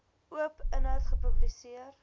oop inhoud gepubliseer